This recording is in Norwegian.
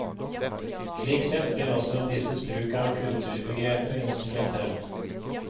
Slik sett blir også disses bruk av kulturbegrepet instrumentell.